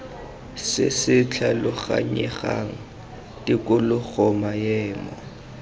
se se tlhaloganyegang tikologo maemo